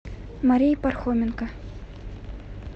марии пархоменко